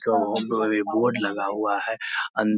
Board लगा हुआ है। अंद --